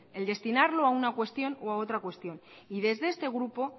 el destinarlo a una cuestión o a otra cuestión y desde este grupo